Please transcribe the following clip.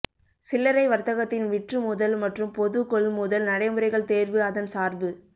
சில்லறை வர்த்தகத்தின் விற்றுமுதல் மற்றும் பொது கொள்முதல் நடைமுறைகள் தேர்வு அதன் சார்பு